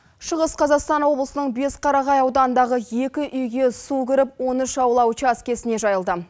шығыс қазақстан облысының бесқарағай ауданындағы екі үйге су кіріп он үш аула учаскесіне жайылды